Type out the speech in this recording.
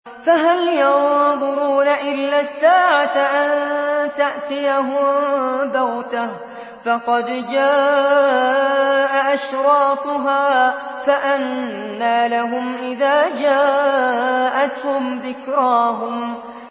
فَهَلْ يَنظُرُونَ إِلَّا السَّاعَةَ أَن تَأْتِيَهُم بَغْتَةً ۖ فَقَدْ جَاءَ أَشْرَاطُهَا ۚ فَأَنَّىٰ لَهُمْ إِذَا جَاءَتْهُمْ ذِكْرَاهُمْ